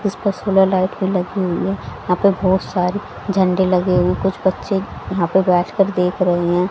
कुछ तस्वीरें लाइट की लगी हुई है यहां पे बहोत सारे झंडे लगे हुए हैं कुछ बच्चे यहां पे बैठ कर देख रहे हैं।